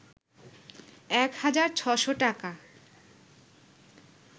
১ হাজার ৬শ’ টাকা